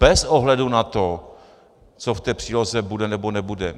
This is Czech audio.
Bez ohledu na to, co v té příloze bude nebo nebude.